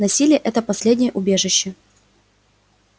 насилие это последнее убежище